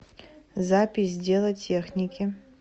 запись дело техники